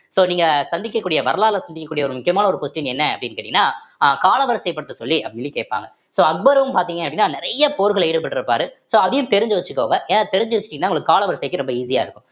so நீங்க சந்திக்கக்கூடிய வரலால சந்திக்கக்கூடிய ஒரு முக்கியமான ஒரு question என்ன அப்படின்னு கேட்டீங்கன்னா அஹ் கால வரிசை படுத்த சொல்லி அப்படின்னு கேட்பாங்க so அக்பரும் பார்த்தீங்க அப்படின்னா நிறைய போர்கல்ல ஈடுபட்டிருப்பாரு so அதையும் தெரிஞ்சு வச்சுக்கோங்க ஏன்னா தெரிஞ்சு வச்சுட்டீங்கன்னா உங்களுக்கு கால வரிசைக்கு ரொம்ப easy ஆ இருக்கும்